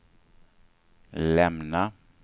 lämna